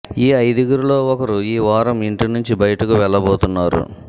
ఈ ఐదుగురిలో ఒకరు ఈ వారం ఇంటి నుంచి బయటకు వెళ్లబోతున్నారు